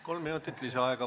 Kolm minutit lisaaega.